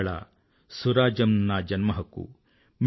ఇవాళ స్వరాజ్యం నా జన్మహక్కు